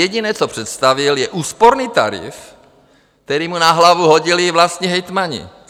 Jediné, co představil, je úsporný tarif, který mu na hlavu hodili vlastní hejtmani.